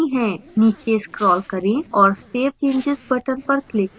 नीचे scroll करें और save changes button पर click करें